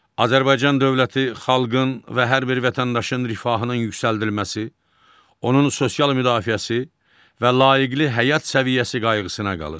Azərbaycan dövləti xalqın və hər bir vətəndaşın rifahının yüksəldilməsi, onun sosial müdafiəsi və layiqli həyat səviyyəsi qayğısına qalır.